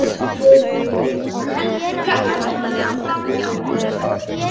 Heldur konan framhjá honum?